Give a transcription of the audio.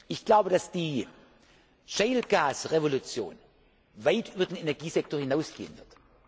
Ich glaube, dass die Schiefergas Revolution weit über den Energiesektor hinausgehen